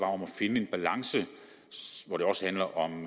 om at finde en balance hvor det også handler om